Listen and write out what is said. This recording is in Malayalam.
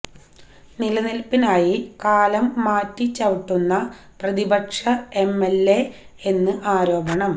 നിലനിൽപ്പിനായി കാലം മാറ്റി ചവിട്ടുന്ന പ്രതിപക്ഷ എം എൽ എ എന്ന് ആരോപണം